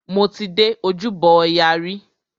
Mo ti dé Ojúbọ ọya rí.